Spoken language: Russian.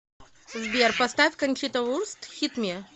сбер поставь кончита вурст хит ми